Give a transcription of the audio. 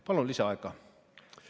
Palun lisaaega!